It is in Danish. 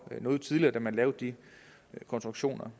noget tidligere da man lavede de konstruktioner